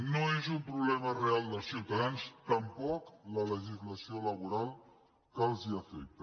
no és un problema dels ciutadans tampoc la legislació laboral que els afecta